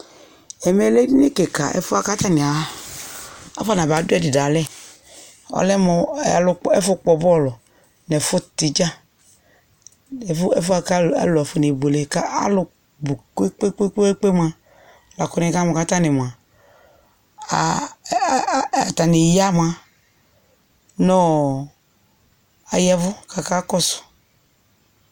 Ɛmɛ lɛ edini kɩka, ɛfʋ yɛ bʋa kʋ atanɩ a afɔnaba dʋ ɛdɩ dʋ alɛ Ɔlɛ alʋ kpɔ ɛfʋ kpɔ bɔlʋ nʋ ɛfʋtɩ dza nʋ ɛfʋ ɛfʋ yɛ bʋa kʋ afɔnebuele kʋ alʋ bʋ kpe-kpe-kpe mʋa, la kʋ nɩkamʋ kʋ atanɩ mʋa, a a a a atanɩ ya mʋa, nʋ ɔ aya ɛvʋ kʋ akakɔsʋ